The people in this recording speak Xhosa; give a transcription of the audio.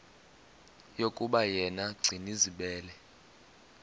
yokuba yena gcinizibele